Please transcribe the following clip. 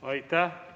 Aitäh!